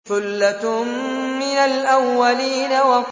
ثُلَّةٌ مِّنَ الْأَوَّلِينَ